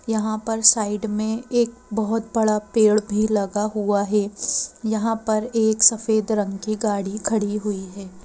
यहाँ पर साइड में एक बहुत बड़ा पेड़ भी लगा हुआ है यहां पर एक सफेद रंग की गाड़ी खड़ी हुई है।